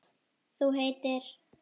Þú heitir?